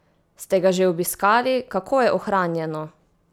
Ste ga že obiskali, kako je ohranjeno?